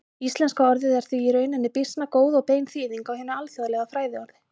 Íslenska orðið er því í rauninni býsna góð og bein þýðing á hinu alþjóðlega fræðiorði.